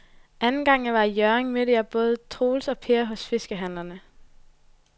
Anden gang jeg var i Hjørring, mødte jeg både Troels og Per hos fiskehandlerne.